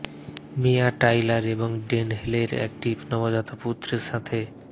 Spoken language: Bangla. মিয়া টাইলার এবং ডেন হেলেন একটি নবজাত পুত্রের সাথে